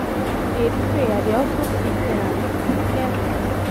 as i dey pray i dey also seek therapy e get why.